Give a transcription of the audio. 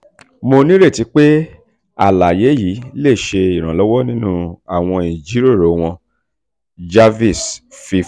mo nireti pe alaye alaye yii le ṣe iranlọwọ ninu awọn ijiroro wọn jarvis fi kun.